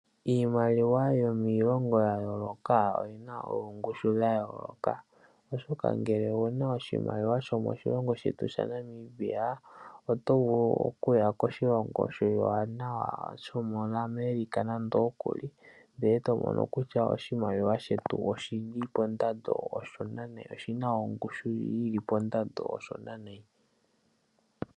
Iimaliwa yomiilongo ya yooloka oyina oongushu dha yooloka, oshoka ngele owuna oshimaliwa shomoshilongo shetu shaNamibia oto vulu okuya koshilongo oshiwanawa koAmerica nande okuli, eto muno kutya oshimaliwa shetu oshili pondando yongushu oshona nayi.